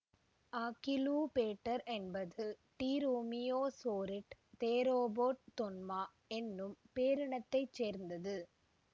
Achillobator என்பது dromaeosaurid theropod தொன்மா என்னும் பேரினத்தைச் சேர்ந்தது